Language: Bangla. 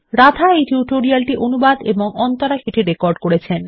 রাধা এই টিউটোরিয়াল টি অনুবাদ এবং অন্তরা এটি রেকর্ড করেছেন